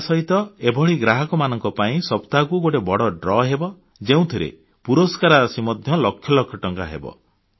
ଏହାସହିତ ଏଭଳି ଗ୍ରାହକମାନଙ୍କ ପାଇଁ ସପ୍ତାହକୁ ଗୋଟିଏ ବଡ଼ ଲକି ଉଠାଣDraw ହେବ ଯେଉଁଥିରେ ପୁରସ୍କାର ରାଶି ମଧ୍ୟ ଲକ୍ଷ ଲକ୍ଷ ଟଙ୍କା ହେବ